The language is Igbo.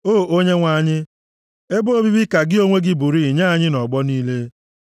O Onyenwe anyị, ebe obibi ka gị onwe gị bụrịị nye anyị nʼọgbọ niile.